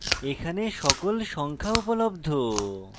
এখানে সকল সংখ্যা উপলব্ধ